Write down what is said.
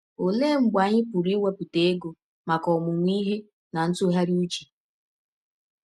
Ọlee mgbe anyị pụrụ iwepụta ọge maka ọmụmụ ihe na ntụgharị ụche?